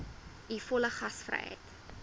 u volle gasvryheid